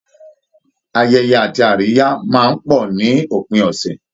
Ayẹyẹ àti àríyá máa ń pọ̀ ní òpin ọ̀sẹ̀